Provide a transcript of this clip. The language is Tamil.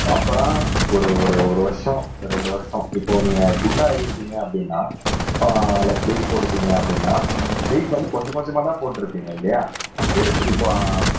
ப்ரொபரா ஒரு ஒரு ஒரு வருஷம் ரெண்டு வருஷம் இப்போ நீங்க குண்டாயிட்டீங்க அப்படின்னா ஆஹ் லைக் வெயிட் போட்டுட்டீங்க அப்படின்னா வெயிட் வந்து கொஞ்சம் கொஞ்சமாதான் போட்டுருப்பீங்க இல்லையா எடுத்து இப்ப